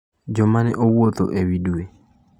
Jo mane owuotho ewi dwe